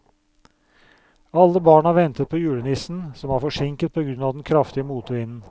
Alle barna ventet på julenissen, som var forsinket på grunn av den kraftige motvinden.